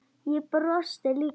Ég brosti líka.